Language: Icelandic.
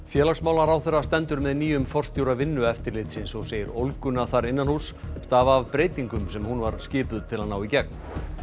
félagsmálaráðherra stendur með nýjum forstjóra Vinnueftirlitsins og segir ólguna þar stafa af breytingum sem hún var skipuð til að ná í gegn